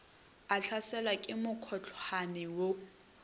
a hlaselwa ke mokhohlwane wo